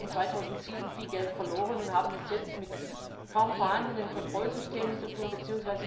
Wir haben 2007 viel Geld verloren und haben es jetzt mit kaum vorhandenen Kontrollsystemen zu tun bzw.